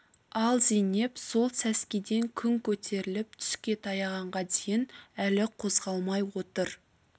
ал зейнеп сол сәскеден күн көтеріліп түске таяғанға дейін әлі қозғалмай отыр